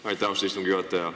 Aitäh, austatud istungi juhataja!